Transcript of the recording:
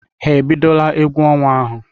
Ha ebidola egwu ọnwa ahụ?